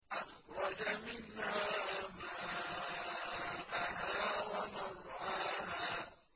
أَخْرَجَ مِنْهَا مَاءَهَا وَمَرْعَاهَا